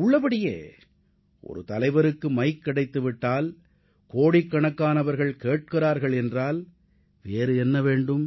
உள்ளபடியே ஒரு தலைவருக்கு மைக் கிடைத்து விட்டால் கோடிக்கணக்கானவர்கள் கேட்கிறார்கள் என்றால் வேறு என்ன வேண்டும்